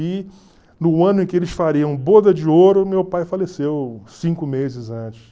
E no ano em que eles fariam boda de ouro, meu pai faleceu cinco meses antes.